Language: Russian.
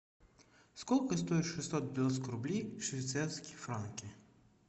сколько стоит шестьсот девяносто рублей в швейцарские франки